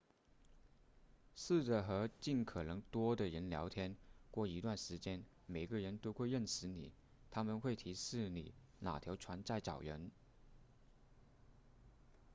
试着和尽可能多的人聊天过一段时间每个人都会认识你他们会提示你哪条船在找人